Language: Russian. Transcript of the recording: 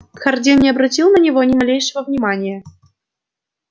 хардин не обратил на него ни малейшего внимания